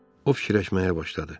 O fikirləşməyə başladı.